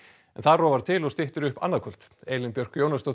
en þar rofar til og styttir upp annað kvöld Elín Björk Jónasdóttir